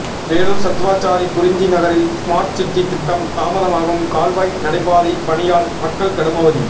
வேலூர் சத்துவாச்சாரி குறிஞ்சி நகரில் ஸ்மார்ட்சிட்டி திட்டம் தாமதமாகும் கால்வாய் நடைபாதை பணியால் மக்கள் கடும் அவதி